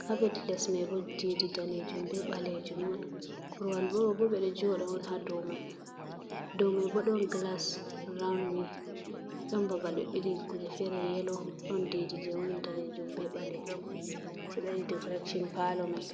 caapet lesmai boo ɗiɗi daneejum bee baleejum on. korowal mai boo ɓe ɗo jooɗa on haa dow mai ɗoo mai boo ɗon gilas raawun, dotn babal ɓe ɓili kuuje feere-feere yelo ɗon, ɗiɗi jey woni daneejum bee baleejum jey waɗi decoreesion paalo mai.